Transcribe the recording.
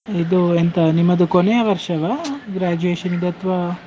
ಇದು ಎಂತ ನಿಮ್ಮದು ಕೊನೆಯ ವರ್ಷವಾ graduation ದು ಅಥ್ವಾ?